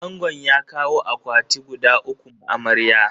Angon ya kawo akwati guda uku ma amarya.